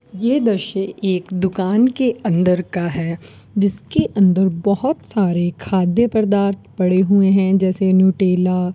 ये दृश्य एक दुकान के अंदर का है जिसके अंदर बहोत सारे खाद्य पदार्थ पड़े हुए हैं जैसे न्यूट्रिला --